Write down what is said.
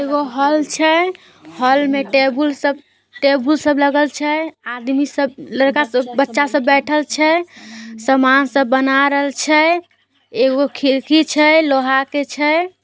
एगो हॉल छै होल में टेबुल सब टेबुल सब लागल छै। आदमी सब लड़का सब बच्चा सब बैठएल छै। सामान सब बना रहल छै। एगो खिड़की छै लोहा के छै।